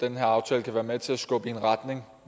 den her aftale kan være med til at skubbe i en retning